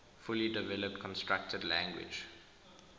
fully developed constructed language